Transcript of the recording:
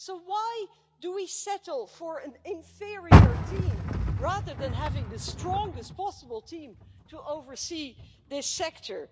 So why do we settle for an inferior team rather than having the strongest possible team to oversee this sector?